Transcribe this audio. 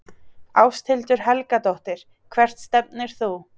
Ásthildur Helgadóttir Hvert stefnir þú?